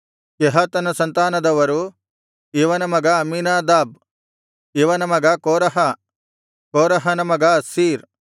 ಕೆಹಾತನ ಸಂತಾನದವರು ಇವನ ಮಗ ಅಮ್ಮೀನಾದಾಬ್ ಇವನ ಮಗ ಕೋರಹ ಕೋರಹನ ಮಗ ಅಸ್ಸೀರ್